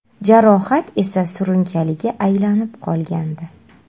Jarohat esa surunkaliga aylanib qolgandi.